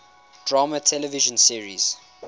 drama television series